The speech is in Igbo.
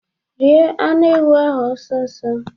Rie anụ ewu ahụ ọsọ ọsọ.